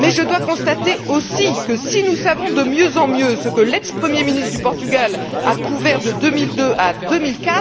Mais je dois constater aussi que si nous savons de mieux en mieux ce que l'ex premier ministre du Portugal a couvert de 2002 à 2004,